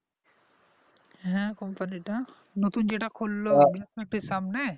হ্যাঁ company টা নতুন যেটা খুললো এর সামনে?